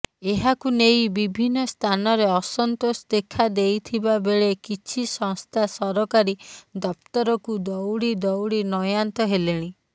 ଏହାକୁ ନେଇ ବିଭିନ୍ନ ସ୍ଥାନରେ ଅସନ୍ତୋଷ ଦେଖାଦେଇଥିବାବେଳେ କିଛି ସଂସ୍ଥା ସରକାରୀ ଦପ୍ତରକୁ ଦଉଡି ଦଉଡି ନୟାନ୍ତ ହେଲେଣି